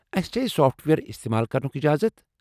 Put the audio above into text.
اسہِ چھا یہ سافٹ وییر استعمال کرنٗک اجازت؟